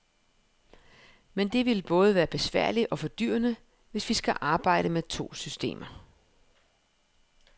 Men det vil både være besværligt og fordyrende, hvis vi skal arbejde med to systemer.